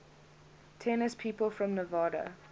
tennis people from nevada